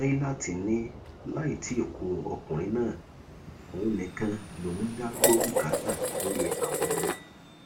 nailat ni láì tí ì ku ọkùnrin náà òun nìkan lòún ń dá gbọ bùkátà lórí àwọn ọmọ